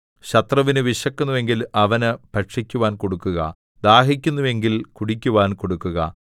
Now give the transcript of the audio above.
ശത്രുവിന് വിശക്കുന്നു എങ്കിൽ അവന് ഭക്ഷിക്കുവാൻ കൊടുക്കുക ദാഹിക്കുന്നു എങ്കിൽ കുടിക്കുവാൻ കൊടുക്കുക